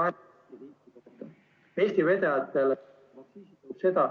Eesti vedajatel seda